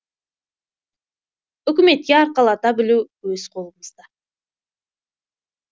үкіметке арқалата білу өз қолымызда